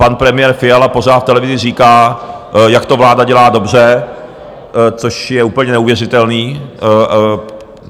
Pan premiér Fiala pořád v televizi říká, jak to vláda dělá dobře, což je úplně neuvěřitelné.